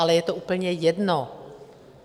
Ale je to úplně jedno.